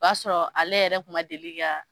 O b'a sɔrɔ ale yɛrɛ kuma deli ka